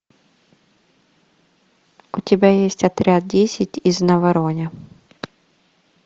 у тебя есть отряд десять из навароне